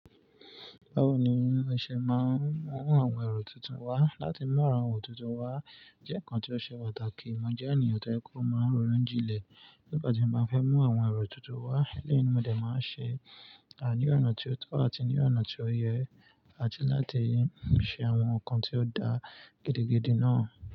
Báwo ni ẹ ṣe máa ń mú àwọn ẹ̀rọ tuntun wá? Láti mú àwọn ero tuntun wá, jẹ́ ǹkan tó ṣe pàtàkì. Mo jẹ́ ènìyàn tó jẹ pó máa rọonu jinlẹ̀ nígbà tí mo bá fẹ́ mú àwọn ẹ̀rọ tuntun wá. Elẹ́yìi mọ́ dẹ̀ máa ṣe, àní ọ̀nà tí ó tọ́ àti ní ọ̀nà tí ó yẹ àti láti ṣe àwọn ǹkan tí ó da gidigidi náà.